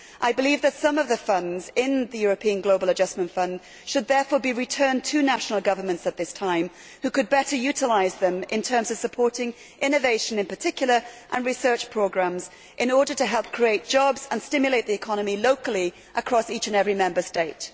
I believe that some of the funds in the European Globalisation Adjustment Fund should therefore be returned at this time to national governments who could better utilise them in terms of supporting innovation in particular, as well as research programmes, in order to help create jobs and stimulate the economy locally across each and every Member State.